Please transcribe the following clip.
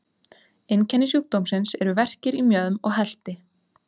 Einkenni sjúkdómsins eru verkir í mjöðm og helti.